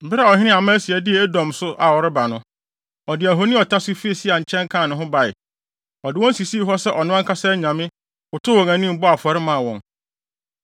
Bere a ɔhene Amasia dii Edomfo so a ɔreba no, ɔde ahoni a ɔtase fii Seirfo nkyɛn kaa ne ho bae. Ɔde wɔn sisii hɔ sɛ ɔno ankasa anyame, kotow wɔn anim, bɔɔ afɔre maa wɔn.